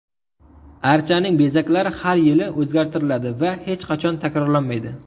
Archaning bezaklari har yili o‘zgartiriladi va hech qachon takrorlanmaydi.